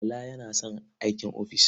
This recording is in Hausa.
Bala yana son aikin ofis.